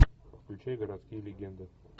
включай городские легенды